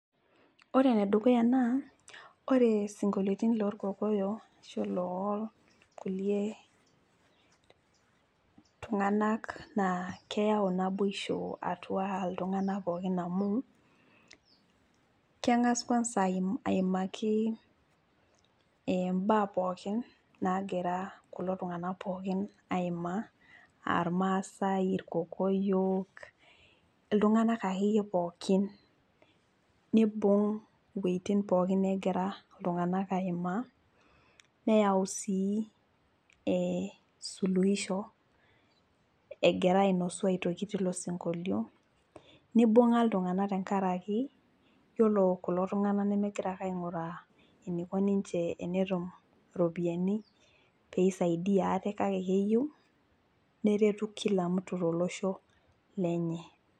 Ore enedukuya naa ore sinkoliotin loorkokoyo ashu loorkulie tunganak naa keyau naboisho atua iltunganak pookin amu kengas kwanza aimaki imbaa pookin nagira kulo tunganak pookin aimaa aa irmaasae , irkokoyo, iltunganak akeyie pookin , nibung iwuetin pookin negira iltunganak aimaa neyau sii suluhisho egira ainosu aitoki tilo sinkolio , nibunga iltunganak tenkaraki yiolo kulo tunganak nemegira ake ainguraa eniko ninche tenetum pisadia ate kake keyieu neretu kila mtu tolosho lenye .